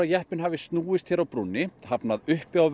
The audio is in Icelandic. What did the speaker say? jeppinn hafi snúist hérna á brúnni hafnað uppi á